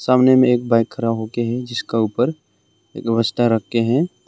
सामने में एक बाइक खरा हो के है जिसका ऊपर एक बसता रखके है।